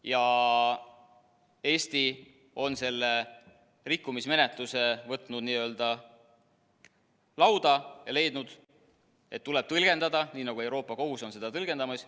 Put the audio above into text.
Ja Eesti on selle rikkumismenetluse võtnud lauale ja leidnud, et seda tuleb tõlgendada oma õigusruumis nii, nagu Euroopa Kohus on seda tõlgendanud.